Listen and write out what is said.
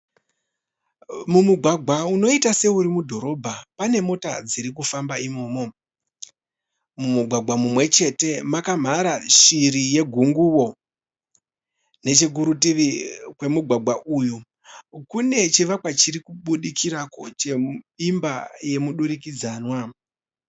Mumugwagwa unoita seuri mudhorobha pane mota dziri kufamba imomo. Mumugwagwa mumwe chete makamhara shiri yegunguwo. Nechekurutivi kwemugwagwa uyu kune chivakwa chiri kubudikirako cheimba yemudurikidzanwa.